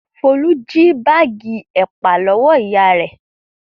Folú jí báágì ẹ̀pà lọ́wọ́ ìyá rẹ̀.